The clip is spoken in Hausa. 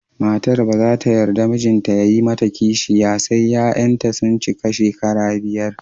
Matar ba za ta yarda mijinta ya yi mata kishiya sai 'ya'yanta sun cika shekara biyar